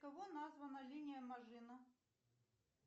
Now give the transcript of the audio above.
кого названа линия мажино